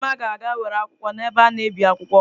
Nneoma ga-aga were akwụkwọ n'ebe a na-ebi akwụkwọ